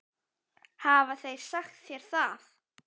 Hafa þeir sagt þér það?